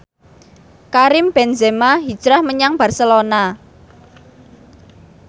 Karim Benzema hijrah menyang Barcelona